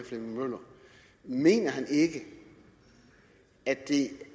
flemming møller mener han ikke at det